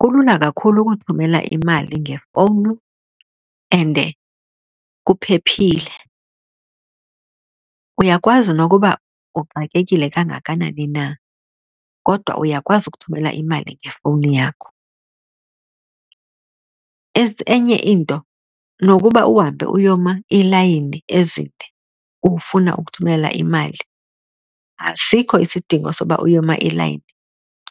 Kulula kakhulu ukuthumela imali ngefowuni and kuphephile. Uyakwazi nokuba uxakekile kangakanani na kodwa uyakwazi ukuthumela imali ngefowuni yakho. Enye into nokuba uhambe uyoma iilayini ezinde ufuna ukuthumelela imali asikho isidingo soba uyoma elayini.